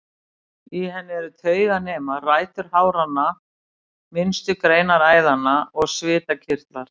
Í henni eru tauganemar, rætur háranna, minnstu greinar æðanna og svitakirtlar.